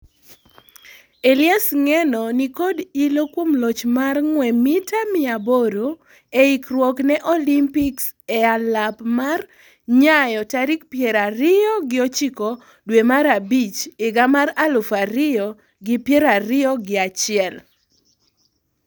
Elias Ng'eno nikod ilo kuom loch mar ng'wee mita mia aboro e ikruok ne Olympics e lap mar Nyayo tarik piero ariyo gi ochiko dwe mar abich higa mar aluf ariyo gi piero ariyo gi achiel.